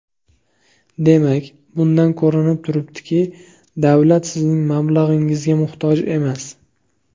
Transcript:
Demak, bundan ko‘rinib turibdiki, davlat sizning mablag‘ingizga muhtoj emas.